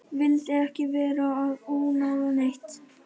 Vildi ekki vera að ónáða neitt.